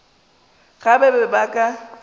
ge ba be ba ka